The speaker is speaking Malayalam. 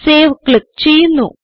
സേവ് ക്ലിക്ക് ചെയ്യുന്നു